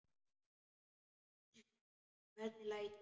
Hvernig læt ég!